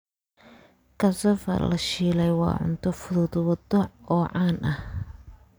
Cassava la shiilay waa cunto fudud waddo oo caan ah.